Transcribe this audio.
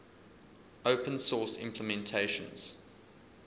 open source implementations